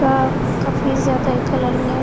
आपका फेस ज्यादा ही कलरिंग हैं।